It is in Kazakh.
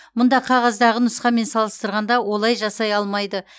мұнда қағаздағы нұсқамен салыстырғанда олай жасай алмайды